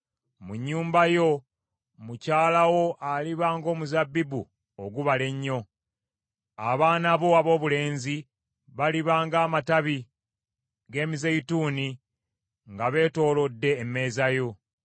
Mu nnyumba yo, mukyala wo aliba ng’omuzabbibu ogubala ennyo; abaana bo aboobulenzi baliba ng’amatabi g’emizeeyituuni nga beetoolodde emmeeza yo.